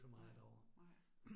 Nej, nej